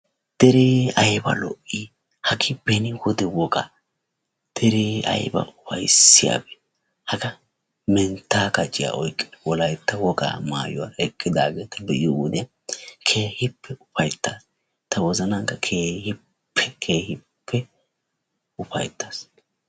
Deree ayba lo''ii! hagee beni wode wogaa. deree ayba ufayssiyabee!hagaa menttaa kaciya oyqqidi wolaytta wogaa maayuwaa ekkidaageta be'iyo wodiyan keehippe ufayttaas. Ta wozanankka keehippe keehippe ufayttaas.